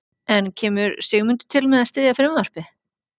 En kemur Sigmundur til með að styðja frumvarpið?